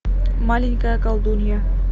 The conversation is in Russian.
маленькая колдунья